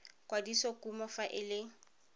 kwadisa kumo fa e le